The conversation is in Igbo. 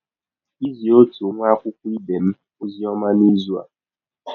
Izi ọtụ nwa akwụkwọ ibe m ọzi ọma n’izụ a.